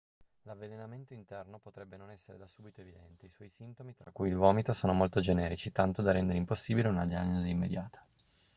l'avvelenamento interno potrebbe non essere da subito evidente i suoi sintomi tra cui il vomito sono molto generici tanto da rendere impossibile una diagnosi immediata